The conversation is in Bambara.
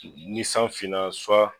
Ni san finna